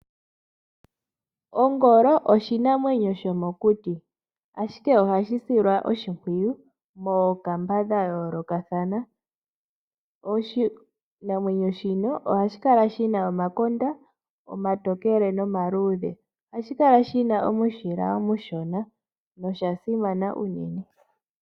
Ongolo oshinamwenyo shomokuti, ashike oha shi silwa oshipwiyu mookamba dha yolokathana. Oshinamwenyo shino oha shikala shina omakonda omatokele nomaludhe, ohashi kala shina omushila omushona nosha simana uunene.